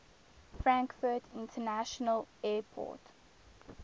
frankfurt international airport